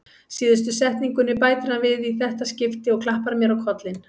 Síðustu setningunni bætir hann við í þetta skipti og klappar mér á kollinn.